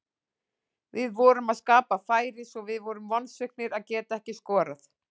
Við vorum að skapa færi svo við vorum vonsviknir að geta ekki skorað.